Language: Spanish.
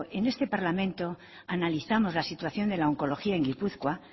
en este parlamento analizamos la situación de la oncología en gipuzkoa